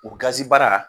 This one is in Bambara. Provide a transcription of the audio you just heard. O gazi baara